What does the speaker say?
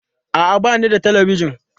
A'a, ba ni da Talabijin.